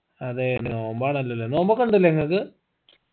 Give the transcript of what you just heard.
അതെ നോമ്പാണല്ലോല്ലേ നോമ്പൊക്കെ ഇണ്ടല്ലേ നിങ്ങക്ക്